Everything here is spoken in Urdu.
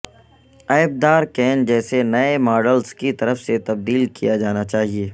عیب دار کین جیسے نئے ماڈلز کی طرف سے تبدیل کیا جانا چاہیے